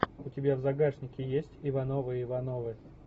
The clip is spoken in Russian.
у тебя в загашнике есть ивановы ивановы